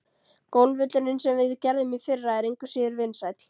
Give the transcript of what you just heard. Golfvöllurinn, sem við gerðum í fyrra, er engu síður vinsæll.